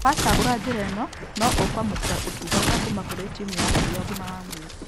Wacagũra njĩra ĩno, no ũkwamũkĩra ũtungata kuma kũrĩ timũ yaku ya ũgima wa mwĩrĩ